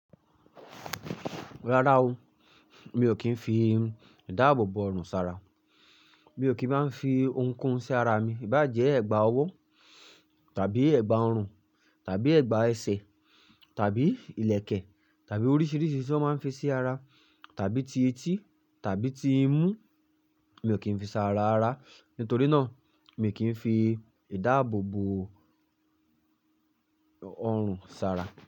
Rárá o, mi ò kí ń fi ìdáàbòbò ọrùn ṣàrà. Mi ò kí máa ń fi ohunkóhun sí ara mi, ìbá jẹ́ ẹ̀gbà ọwọ́ tàbí ẹ̀gbà ọrùn tàbí ẹ̀gbà ẹsẹ̀ tàbí ìlẹ̀kẹ̀ tàbí oríṣìíríṣìí tí wọ́n máa ń fi sí ara tàbí ti etí tàbí ti imú, mi ò kí ń fi ṣàrà ara. Nítorí náà, mi ò kí ń fi ìdáàbòbò ọrùn ṣàrà.